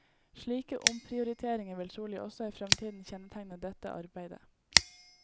Slike omprioriteringer vil trolig også i fremtiden kjennetegne dette arbeidet.